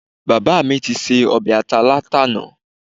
Bàbá mi ti se ọbẹ̀ ata látàná